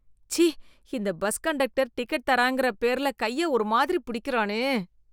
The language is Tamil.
ச்சீ, இந்த பஸ் கண்டக்டர் டிக்கெட் தராங்கற பேர்ல கைய ஒரு மாதிரி பிடிக்கிறானே.